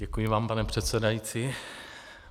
Děkuji vám, pane předsedající.